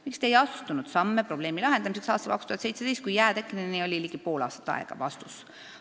Miks Te ei astunud samme probleemi lahendamiseks aastal 2017, kui jää tekkeni oli ligi pool aastat aega?